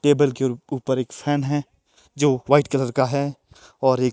table के ऊपर एक फैन है जो वाइट कलर का है और एक--